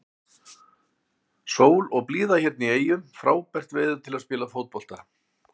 Sól og blíða hérna í eyjum, frábært veður til að spila fótbolta.